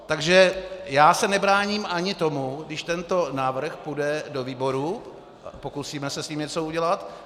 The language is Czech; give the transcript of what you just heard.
Takže já se nebráním ani tomu, když tento návrh půjde do výboru, pokusíme se s ním něco udělat.